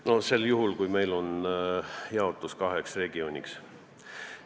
Seda sel juhul, kui meil on jaotus kaheks regiooniks.